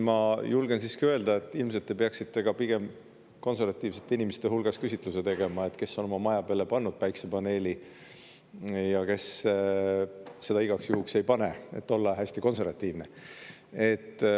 Ma julgen siiski öelda, et ilmselt te peaksite pigem konservatiivsete inimeste hulgas küsitluse tegema, et kes on oma maja peale pannud päikesepaneeli ja kes seda igaks juhuks ei pane, et olla hästi konservatiivne.